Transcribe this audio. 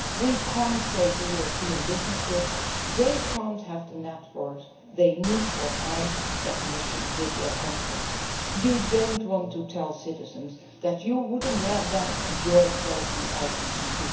We cannot tell European businesses that they cannot have the network they need for high definition video conferences. You do not want to tell citizens that you would not let them enjoy quality